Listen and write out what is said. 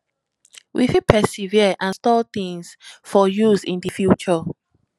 we fit preserve and store things for use in di future